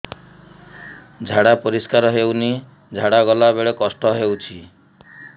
ଝାଡା ପରିସ୍କାର ହେଉନି ଝାଡ଼ା ଗଲା ବେଳେ କଷ୍ଟ ହେଉଚି